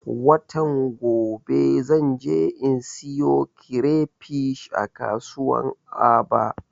Watan gobe zan je in siyo kirefish a kasuwan aba